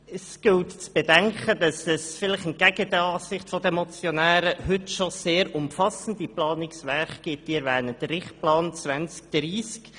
Man muss bedenken, dass es – vielleicht entgegen der Ansicht der Motionäre – schon heute sehr umfassende Planungswerke gibt, beispielsweise den Richtplan 2030.